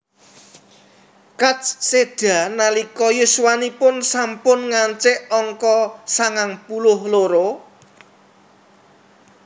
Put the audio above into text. Katz séda nalika yuswanipun sampun ngancik angka sangang puluh loro